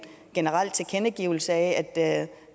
generel tilkendegivelse af at